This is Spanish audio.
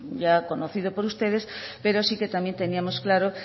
ya conocido por ustedes pero sí que también teníamos claro